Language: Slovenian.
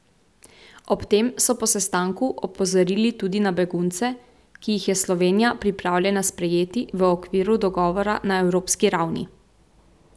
Ob tem so po sestanku opozorili tudi na begunce, ki jih je Slovenija pripravljena sprejeti v okviru dogovora na evropski ravni.